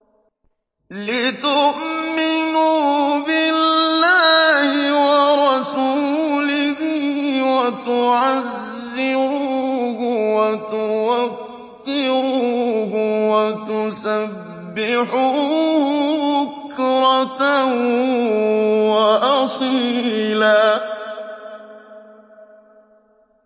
لِّتُؤْمِنُوا بِاللَّهِ وَرَسُولِهِ وَتُعَزِّرُوهُ وَتُوَقِّرُوهُ وَتُسَبِّحُوهُ بُكْرَةً وَأَصِيلًا